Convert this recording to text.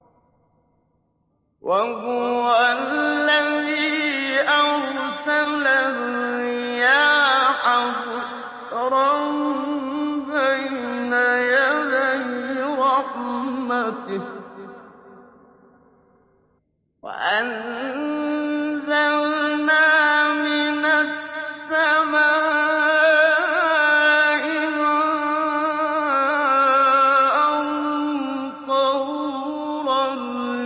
وَهُوَ الَّذِي أَرْسَلَ الرِّيَاحَ بُشْرًا بَيْنَ يَدَيْ رَحْمَتِهِ ۚ وَأَنزَلْنَا مِنَ السَّمَاءِ مَاءً طَهُورًا